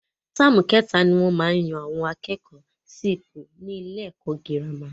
Táàmù ké ta ni wọ́n maá yan àwọn akẹ́kọ̀ọ́ sí ipò ni ilé ẹ̀kọ́ girama